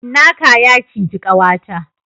Cinnaka ya ciji kawata